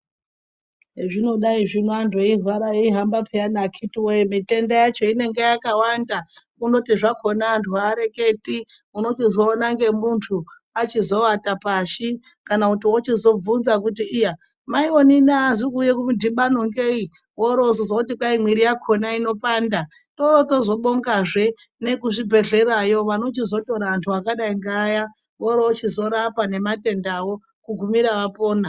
Hezvinodai zvino anthu anorwara eihamba pheyani akhiti woye mitenda yakhona inenge yakawanda kundoti hakhona anthu aareketi unochizoona ngemunthu achizowata pashi kana kuti wochi zobvunza kuti mai onini aazi kuuya kumudhibano ngei woro ozozwa kuti mwiri yakhona inopanda toroiochi zoobonga anhu ekuchibhedhlera anochizotora anthu akadaro oroochi zorapwa kusvika apona.